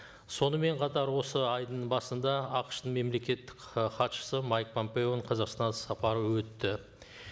сонымен қатар осы айдың басында ақш тың мемлекеттік і хатшысы майк помпеоның қазақстан іссапары өтті